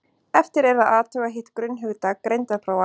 eftir er að athuga hitt grunnhugtak greindarprófa